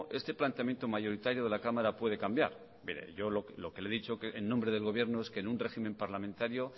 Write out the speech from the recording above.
este planteamiento mayoritario de la cámara puede cambiar pero yo lo que le he dicho en nombre del gobierno es que en un régimen parlamentario